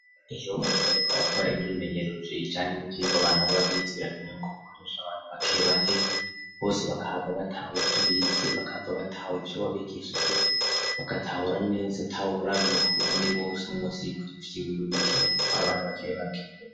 Iyo muntu, ariko arakora imyimenyerrujo ijanye n'ivyoiba bantu babizi birakeneweko gukoresha abantu bakebake bose bakahava batawe ivyo bize bakava batawe ivyo wabigishije bagatahura neza atahurabiye ku wundi wose mu musiyikora ivyo iwiwe bikena gutwara abana bakebake.